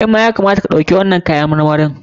Kai ma ya kamata ka ɗauki wannan kayan marmarin.